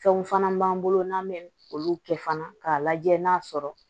Fɛnw fana b'an bolo n'an bɛ olu kɛ fana k'a lajɛ n'a sɔrɔ